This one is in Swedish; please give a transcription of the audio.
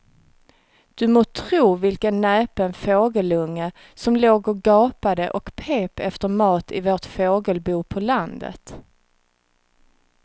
Du må tro vilken näpen fågelunge som låg och gapade och pep efter mat i vårt fågelbo på landet.